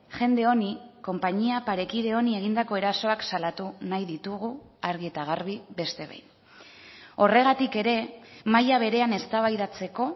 jende honi konpainia parekide honi egindako erasoak salatu nahi ditugu argi eta garbi beste behin horregatik ere maila berean eztabaidatzeko